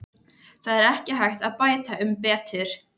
Það er ekki hægt að bæta um betur.